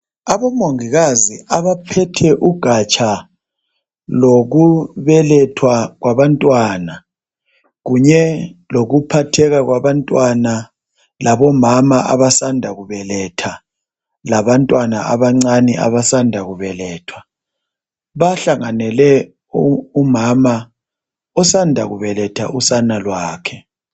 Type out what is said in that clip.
Abomongikazi abaphethe ugatsha lokubelethwa kwabantwana kunye lokuphatheka kwabantwana labomama abasanda kubeletha labantwana abancane abasanda kubelethwa bahlanganele umama osanda kubeletha usane lwakhe.